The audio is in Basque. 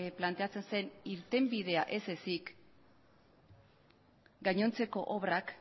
planteatzen zen irtenbidea ez ezik gainontzeko obrak